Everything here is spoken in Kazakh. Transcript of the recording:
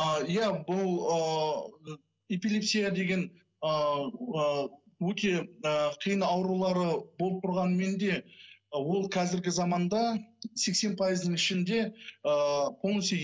а иә бұл ы эпилепсия деген ыыы өте ы қиын аурулары болып тұрғанымен де ол қазіргі заманда сексен пайыздың ішінде ыыы полностью